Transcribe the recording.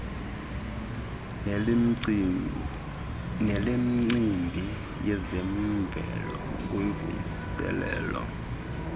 nelemicimbi yezemvelo kuvuselela